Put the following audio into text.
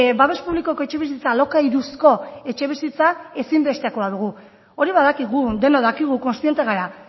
babes publikoko etxebizitza alokairuzko etxebizitza ezinbestekoa dugu hori badakigu denok dakigu kontziente gara